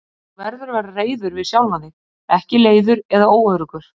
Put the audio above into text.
Þú verður að vera reiður við sjálfan þig, ekki leiður eða óöruggur.